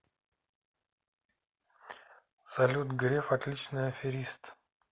салют греф отличный аферист